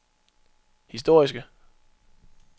historiske